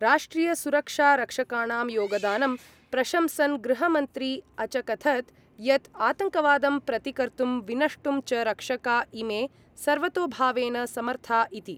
राष्ट्रियसुरक्षारक्षकाणां योगदानं प्रशंसन् गृहमन्त्री अचकथत् यत् आतङ्कवादं प्रतिकर्तुं विनष्टुं च रक्षका इमे सर्वतोभावेन समर्था इति।